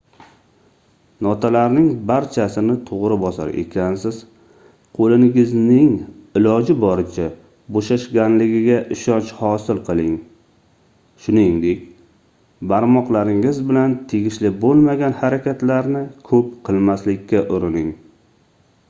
notalarning barchasini toʻgʻri bosar ekansiz qoʻlingizning iloji boricha boʻshashganligiga ishonch hosil qiling shuningdek barmoqlaringiz bilan tegishli boʻlmagan harakatlarni koʻp qilmaslikka urining